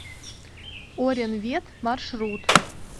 оренвет маршрут